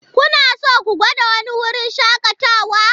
Kuna so ku gwada wani wurin shakatawa?